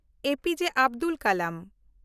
APJ. Abdul Kalam